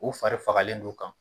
U fari fagalen don u kan